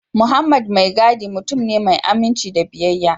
Mohammed maigiudi mutum ne mai aminci da biyayya